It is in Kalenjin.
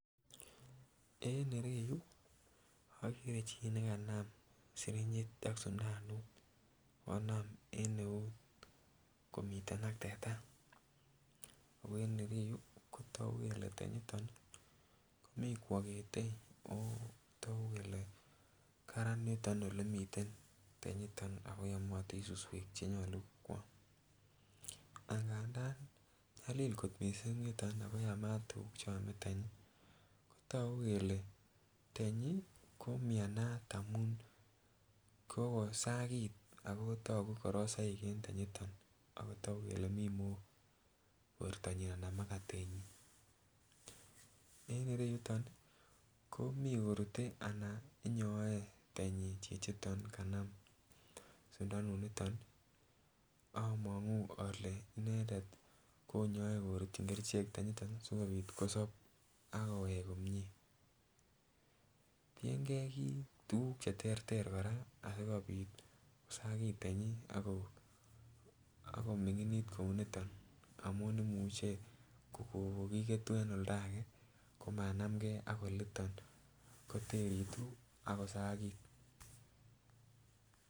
En ireyu okere chii nekanam sirinyit ak sundanut konam en eut komiten ak teta ako en ireyu kotogu kele tenyiton ih komii kwokete ako togu kele karan niton elemiten tenyiton akoyomotin suswek chenyolu koam angandan nyalil kot missing yuton ako yamat tuguk cheome tenyi kotogu kele tenyi komianat amun kokosakit ako togu korosoik en tenyiton ako togu kele mii mook bortonyin anan makatenyin. En ireyuton komii korute anan nyoe tenyi chichiton kanam sundanut niton among'u ole inendet konyoe korutyin kerichek tenyiton ih sikobit kosob akowek komie. Tiengei tuguk cheterter kora asikobit kosakit tenyi ako ako ming'init kou niton amun imuche kokokiketu en oldake ako manamgee ak oliton koteritu ako sakit.